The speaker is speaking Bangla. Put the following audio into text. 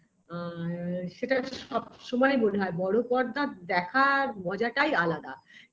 আ এ সেটা সবসময় মনে হয় বড় পর্দা দেখার মজা টাই আলাদা